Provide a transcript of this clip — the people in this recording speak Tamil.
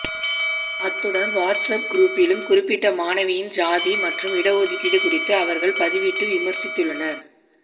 அத்துடன் வாட்ஸ் அப் குரூப்பிலும் குறிப்பிட்ட மாணவியின் சாதி மற்றும் இடஒதுக்கீடு குறித்து அவர்கள் பதிவிட்டு விமர்சித்துள்ளனர்